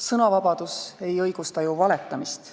Sõnavabadus ei õigusta ju valetamist.